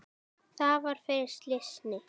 Það var fyrir slysni.